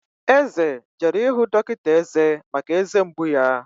Eze jere ịhụ dọkịta eze maka eze mgbu ya